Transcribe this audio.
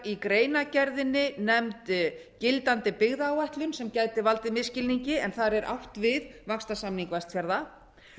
í greianrgeðrinni nefnd gildandi byggðaáætlun sem gæti valdið misskilningi en þar er átt við vaxtarsamning vestfjarða